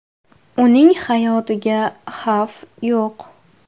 Uning hayotiga xavf yo‘q.